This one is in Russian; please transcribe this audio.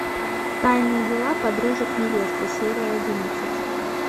тайные дела подружек невесты серия одиннадцать